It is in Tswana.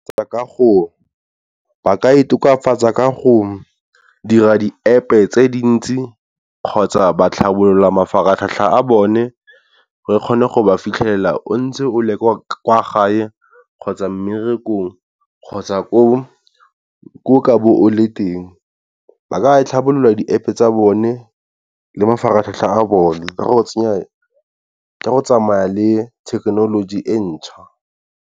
Ba ka e tokafatsa ka go dira di-App tse dintsi kgotsa ba tlhabolola mafaratlhatlha a bone re kgone go ba fitlhela o ntse o le kwa kwa gae kgotsa mmerekong, kgotsa ko o ka be o le teng. Ba ka tlhabolola di-App tsa bone le mafaratlhatlha a bone ka go tsenya, ka go tsamaya le thekenoloji e ntjha.